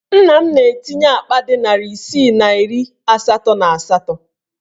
Nna m na-etinye akpa dị narị isii na iri asatọ na asatọ.